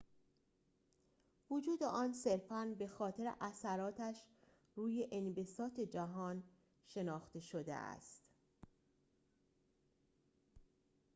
وجود آن صرفاً به‌خاطر اثراتش روی انبساط جهان شناخته شده است